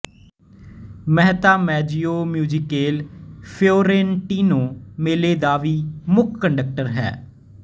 Mehta Maggio Musicale Fiorentino ਮੇਲੇ ਦਾ ਵੀ ਮੁੱਖ ਕੰਡਕਟਰ ਹੈ